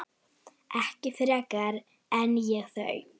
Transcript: Ekki frekar en ég þau.